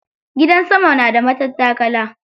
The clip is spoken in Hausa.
Gidan sama na da matattakala.